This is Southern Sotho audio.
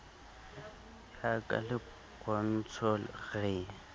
ya ka le pontsho re